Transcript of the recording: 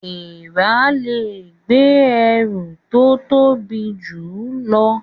Èèrà lẹ gbé ẹrù tó tobi jù ló